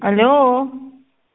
алло